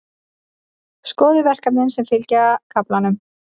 Skoðið verkefnin sem fylgja kaflanum.